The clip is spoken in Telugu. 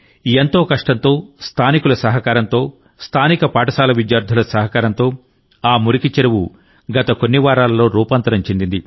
ఎంతో కష్టంతో స్థానికుల సహకారంతో స్థానిక పాఠశాల విద్యార్థుల సహకారంతో ఆ మురికి చెరువు గత కొన్ని వారాల్లో రూపాంతరం చెందింది